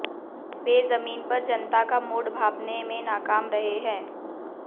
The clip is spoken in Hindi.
वे जमीन पर जनता का मूड भांपने में नाकाम रहे हैं